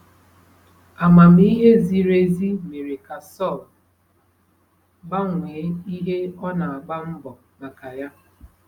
Amamihe ziri ezi mere ka Saul gbanwee ihe ọ na-agba mbọ maka ya.